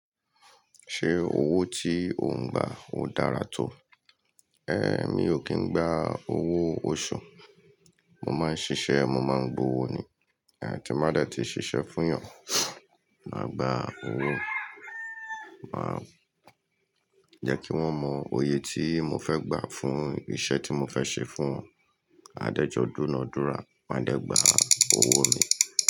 Ṣé owó tí o ń gba ó dára tó? Mi ò kín ń gba owó oṣù. Mo máa ń ṣiṣẹ́, mo máa ń gba owó ni. Tí mo bá dẹ́ ti ṣiṣẹ́ fún èèyàn, màá gba owó. Màá jẹ́ kí wọ́n mọ oyè tí mo fẹ́ gbà fún iṣẹ́ tí mo fẹ́ ṣe fún wọn. Adẹ́jọ́ dúna dúra, màá dẹ́ gbà owó mi.